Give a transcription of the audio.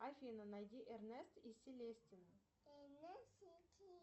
афина найди эрнест и селестина